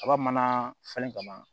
Kaba mana falen kama